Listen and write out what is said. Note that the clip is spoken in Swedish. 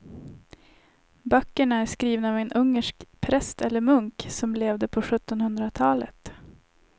Böckerna är skrivna av en ungersk präst eller munk som levde på sjuttonhundratalet.